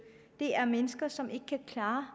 det er fra mennesker som ikke kan klare